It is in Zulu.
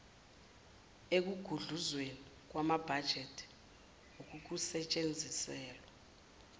ekugudluzweni kwamabhajethi kukusetshenziselwa